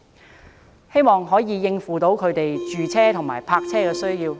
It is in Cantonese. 我希望這些措施能夠應付他們住屋和泊車的需要。